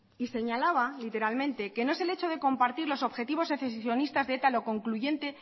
y señalaba literalmente que no es el hecho de compartir los objetivos secesionistas de eta lo concluyente